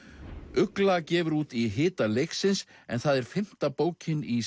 ugla gefur út í hita leiksins en það er fimmta bókin í